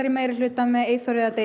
í meirihluta með Eyþor eða Degi